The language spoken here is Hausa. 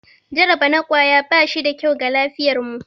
Jaraba na kwaya ba shi da kyau ga lafiyarmu.